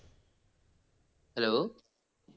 hello